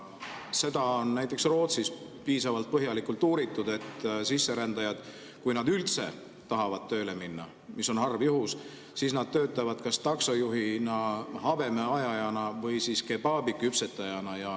Seda on näiteks Rootsis piisavalt põhjalikult uuritud, et sisserändajad, kui nad üldse tahavad tööle minna, mis on harv juhus, töötavad kas taksojuhina, habemeajajana või kebabiküpsetajana.